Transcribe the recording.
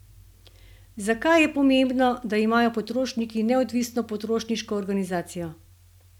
Zakaj je pomembno, da imajo potrošniki neodvisno potrošniško organizacijo?